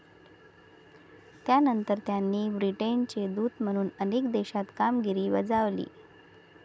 त्यानंतर त्यांनी ब्रिटनचे दूत म्हणून अनेक देशात कामगिरी बजावली.